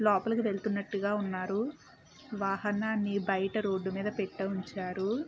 లోపలికి వెళ్తున్నట్లుగా ఉన్నారు. వాహనాన్ని బయట రోడ్ మీద పెట్ట ఉంచారు.